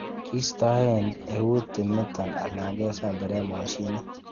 Kistoen eut timiton alan kesemberen mosinit.